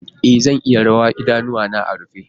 E, zan iya rawa idanuwana a rufe.